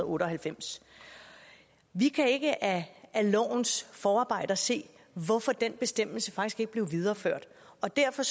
otte og halvfems vi kan ikke af lovens forarbejder se hvorfor den bestemmelse ikke blev videreført og derfor